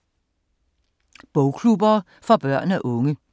Bogklubber for børn og unge